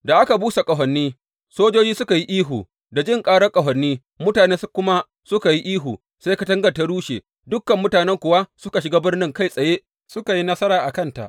Da aka busa ƙahoni, sojoji suka yi ihu, da jin ƙarar ƙahoni, mutane suka kuma yi ihu, sai katangar ta rushe; dukan mutanen kuwa suka shiga birnin kai tsaye, suka yi nasara a kanta.